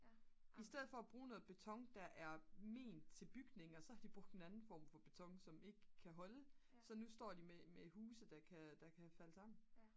i stedet for at bruge noget beton der er ment til bygninger så har de brugt en andet form for beton så nu står de med huse der kan falde sammen